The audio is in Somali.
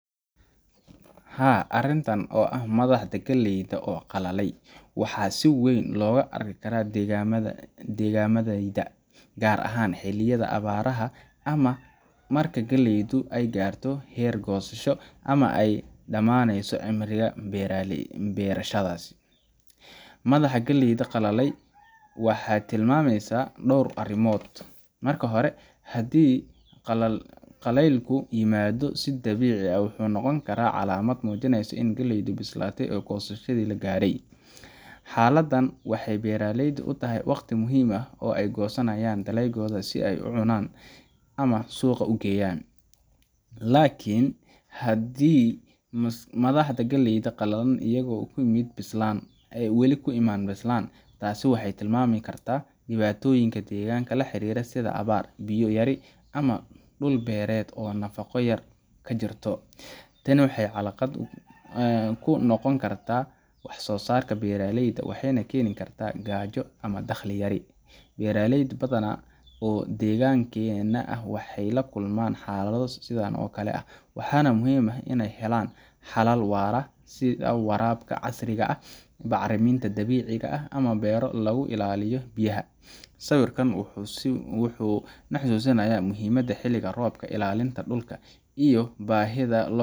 Haa, arrintan oo ah madaxda galleyda oo qalalay waa wax si weyn looga arki karo deegaannadayada, gaar ahaan xilliyada abaaraha ama marka galleeyda ay gaarayso heer goosasho ama ay u dhammaanayso cimriga beerashadas. Madaxda galleyda qalalay waxay tilmaamayaan dhowr arrimood. Marka hore, haddii qalaylku yimaado si dabiici ah, wuxuu noqon karaa calaamad muujinaysa in galleydu bislaatay oo goosashadii la gaadhay. Xaaladdan waxay beeraleyda u tahay waqti muhiim ah oo ay goosanayaan dalaggoodii si ay u cunaan ama suuqa u geeyaan. Laakiin haddii madaxda galleyda qalalaan iyagoo aan weli bislaan, taas waxay tilmaami kartaa dhibaatooyin deegaanka la xiriira sida abaar, biyo yari, ama dhul-beereedkii oo nafaqo yari ka jirto. Tani waxay caqabad ku noqon kartaa wax-soo-saarka beeraleyda waxayna keeni kartaa gaajo ama dakhli yari. Beeraley badan oo deegaankeenna ah waxay la kulmaan xaalado sidan oo kale ah, waxaana muhiim u ah inay helaan xalal waara sida waraabka casriga ah, bacriminta dabiiciga ah, ama beero lagu ilaaliyo biyaha. Sawirkan wuxuu na xusuusinayaa muhiimadda xilliga roobka, ilaalinta dhulka, iyo baahida loo